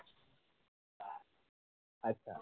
আচ্ছা